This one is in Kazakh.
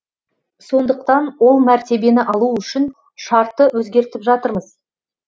сондықтан ол мәртебені алу үшін шартты өзгертіп жатырмыз